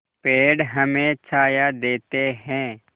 पेड़ हमें छाया देते हैं